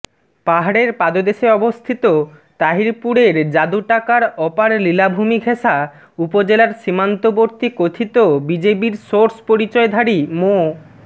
পাহাড়ের পাদদেশে অবস্থিত তাহিরপুরের যাদুটাকার অপার লীলাভূমি ঘেষা উপজেলার সীমান্তবর্তী কথিত বিজিবির সোর্স পরিচয়ধারী মো